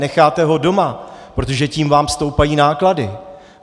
Necháte ho doma, protože tím vám stoupají náklady.